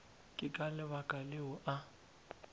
ke ka lebaka leo a